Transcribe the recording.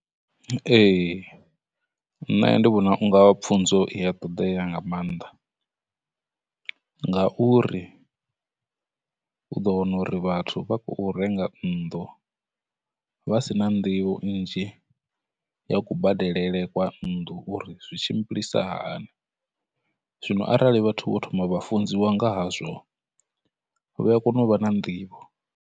Ee, nṋe ndi vhona unga pfunzo i ya ṱoḓea nga maanḓa, ngauri u ḓo wana uri vhathu vha khou renga nnḓu vha si na nḓivho nnzhi ya kubadelele kwa nnḓu uri zwi tshimbilisahani, zwino arali vhathu vho thoma vha funziwa ngahazwo vhaya kona u vha na nḓivho.